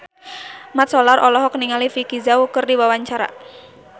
Mat Solar olohok ningali Vicki Zao keur diwawancara